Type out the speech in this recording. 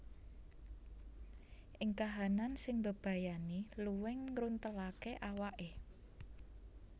Ing kahanan sing mbebayani luwing ngruntelaké awaké